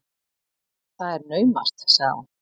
Það er naumast, sagði hún.